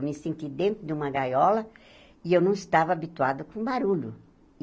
Eu me senti dentro de uma gaiola e eu não estava habituada com barulho.